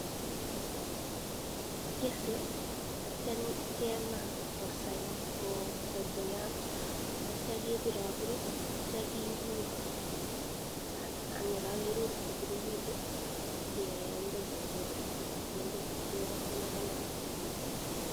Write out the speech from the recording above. Kikese atyam kemaa kosai koyam atya kebir abir, atya kirur ang ye kakirur kotililitu kenda chepiret kendo chepirok atya kekonor komnye.